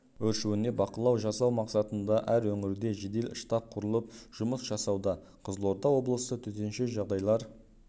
өршуіне бақылау жасау мақсатында әр өңірде жедел штаб құрылып жұмыс жасауда қызылорда облысы төтенше жағдайлар